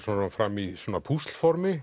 fram í